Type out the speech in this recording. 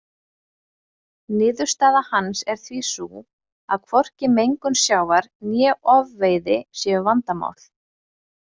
Niðurstaða hans er því sú að hvorki mengun sjávar né ofveiði séu vandamál.